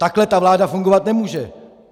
Takhle ta vláda fungovat nemůže!